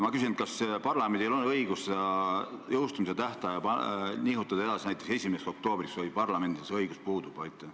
Ma küsin, kas parlamendil on õigus seda jõustumise tähtaega edasi nihutada, näiteks 1. oktoobrile, või see õigus parlamendil puudub.